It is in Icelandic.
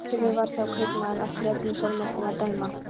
Svartskeggur var þá kaupmaður eftir öllum sólarmerkjum að dæma.